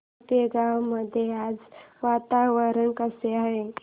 आपेगाव मध्ये आज वातावरण कसे आहे